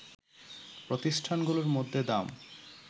প্রতিষ্ঠানগুলোর মধ্যে দাম